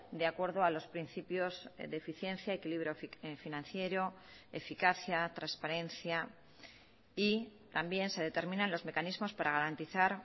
de acuerdo a los principios de eficiencia equilibrio financiero eficacia transparencia y también se determinan los mecanismos para garantizar